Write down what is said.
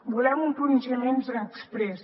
volem un pronunciament exprés